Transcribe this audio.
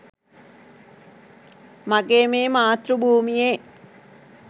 මගේ මේ මාතෘ භූමියේ